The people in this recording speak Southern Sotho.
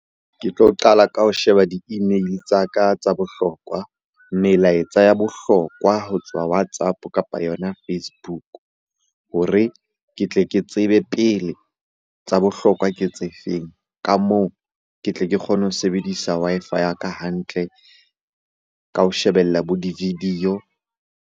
Ke tlo qala ka ho sheba di-email-e tsa ka tsa bohlokwa, melaetsa ya bohlokwa ho tswa WhatsApp-o, kapa yona Facebook hore ke tle ke tsebe pele tsa bohlokwa ke tse feng? Ka moo ke tle ke kgone ho sebedisa Wi-Fi ya ka hantle ka ho shebella bo di-video.